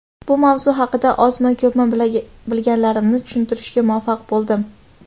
bu mavzu haqida ozmi ko‘pmi bilganlarimni tushuntirishga muvaffaq bo‘ldim.